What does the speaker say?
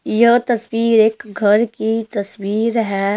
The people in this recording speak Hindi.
यह तस्वीर एक घर की तस्वीर है।